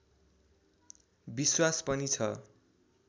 विश्वास पनि छ